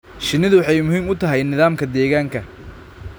Shinnidu waxay muhiim u tahay nidaamka deegaanka.